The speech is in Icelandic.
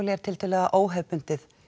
er tiltölulega óhefðbundið